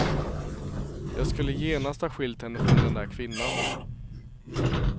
Jag skulle genast ha skilt henne från den där kvinnan.